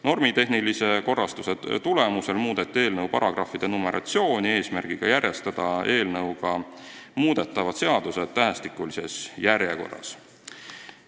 Normitehnilise korrastuse tulemusel muudeti eelnõu paragrahvide numeratsiooni, et järjestada eelnõuga muudetavad seadused tähestikulises järjekorras.